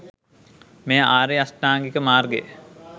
මෙය ආර්ය අෂ්ටාංගික මාර්ගය